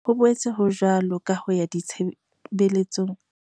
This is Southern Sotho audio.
Ho boetse ho jwalo ka ho ya ditshebe letsong.